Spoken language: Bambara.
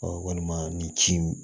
walima nin ci